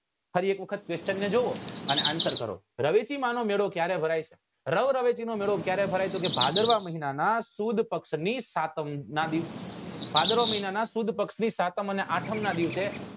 ફરી એક વખત question ને જોવો અને answer કરો રવેચી માં નો મેળો ક્યારે ભરાય રવ રવેચી નો મેળો ક્યારે ભરાય તો કે ભાદરવા મહિના ના સુદ પક્ષ ની સાતમ નાં દિવસે ભાદરવા મહિના ના સુદ પક્ષ ના સાતમ અને આઠમ નાં દિવસે આ